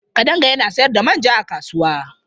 Kadanga yana sayar da manja a kasuwa.